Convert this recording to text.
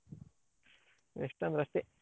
ಎಷ್ಟಂದ್ರು ಅಷ್ಟೇ.